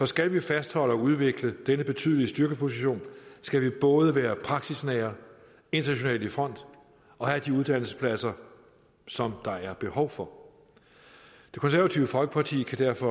skal vi fastholde og udvikle denne betydelige styrkeposition skal vi både være praksisnære internationalt i front og have de uddannelsespladser som der er behov for det konservative folkeparti kan derfor